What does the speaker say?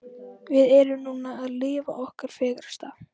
Við erum núna að lifa okkar fegursta.